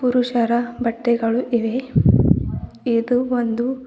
ಪುರುಷರ ಬಟ್ಟೆಗಳು ಇವೆ ಇದು ಒಂದು--